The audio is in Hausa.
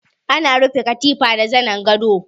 Ana rufe katifa da zanin gado.